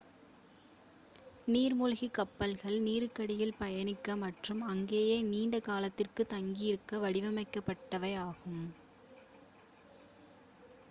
நீர்மூழ்கிக் கப்பல்கள் நீருக்கடியில் பயணிக்க மற்றும் அங்கேயே நீண்ட காலத்திற்கு தங்கியிருக்க வடிவமைக்கப்பட்டவை ஆகும்